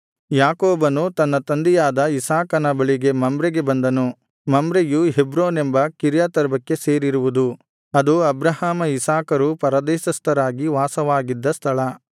ಯಾಕೋಬನು ತನ್ನ ತಂದೆಯಾದ ಇಸಾಕನ ಬಳಿಗೆ ಮಮ್ರೆಗೆ ಬಂದನು ಮಮ್ರೆಯು ಹೆಬ್ರೋನೆಂಬ ಕಿರ್ಯತರ್ಬಕ್ಕೆ ಸೇರಿರುವುದು ಅದು ಅಬ್ರಹಾಮ ಇಸಾಕರು ಪರದೇಶಸ್ಥರಾಗಿ ವಾಸವಾಗಿದ್ದ ಸ್ಥಳ